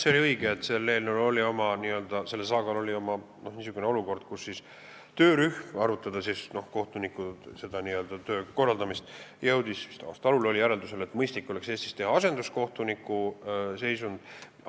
Jah, see on õige, et selle eelnõu saaga jooksul oli niisugune olukord, kus töörühm, arutades kohtunikutöö korraldamist, jõudis – vist aasta alul oli see – järeldusele, et mõistlik oleks Eestis luua asenduskohtuniku kutse.